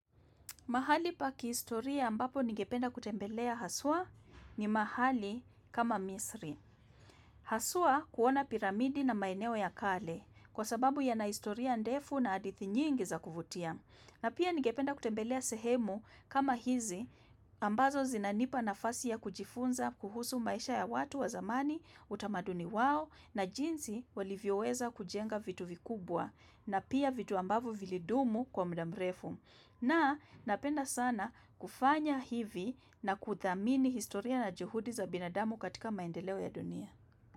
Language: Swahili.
Mahali pa kihistoria ambapo nigependa kutembelea haswa ni mahali kama misri. Haswa kuona piramidi na maeneo ya kale kwa sababu yana historia ndefu na hadithi nyingi za kuvutia. Na pia nigependa kutembelea sehemu kama hizi ambazo zinanipa nafasi ya kujifunza kuhusu maisha ya watu wa zamani, utamaduni wao na jinsi walivyoweza kujenga vitu vikubwa na pia vitu ambavyo vilidumu kwa muda mrefu. Na napenda sana kufanya hivi na kuthamini historia na juhudi za binadamu katika maendeleo ya dunia.